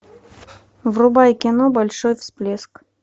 врубай кино большой всплеск